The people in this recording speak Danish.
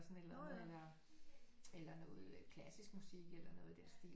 Sådan et eller andet eller eller noget klassisk musik eller noget i den stil